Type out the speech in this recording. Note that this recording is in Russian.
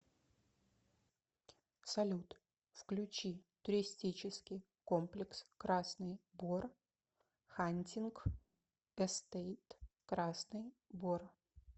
салют включи туристический комплекс красный бор хантинг эстейт красный бор